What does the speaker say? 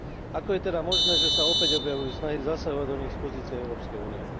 Ako je teda možné, že sa opäť objavujú snahy zasahovať do nich z pozície Európskej únie?